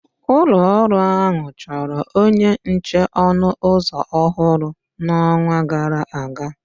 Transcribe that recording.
Ụlọ ọrụ ahụ chọrọ onye nche ọnụ ụzọ ọhụrụ n'ọnwa gara aga